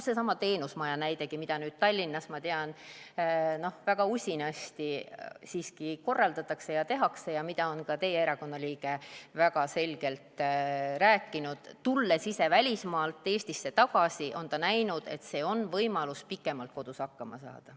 Seesama teenusmaja näidegi, mida Tallinnas, ma tean, väga usinasti siiski korraldatakse ja tehakse ja mida on ka teie erakonna liige Liis Klaar väga selgelt rääkinud – tulles ise välismaalt Eestisse tagasi, on ta näinud, et see on võimalus pikemalt kodus hakkama saada.